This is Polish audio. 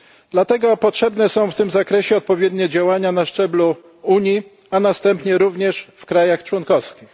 Dlatego potrzebne są w tym zakresie odpowiednie działania na szczeblu Unii, a następnie również w państwach członkowskich.